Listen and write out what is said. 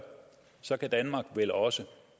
så kan danmark vel også